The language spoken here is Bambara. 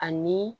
Ani